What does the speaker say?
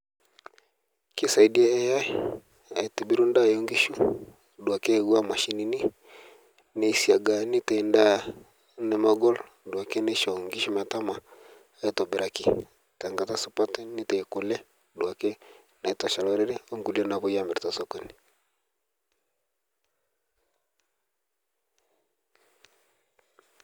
Keisaidia AI aitubiru ndaa oenkishu duake ewaa mashinini neisaga neitai ndaa nemegol duake neisho ngidhu metama aitobiraki tengata supat neitai kule duake nitosha lorere onkule naapoi amir tesokoni.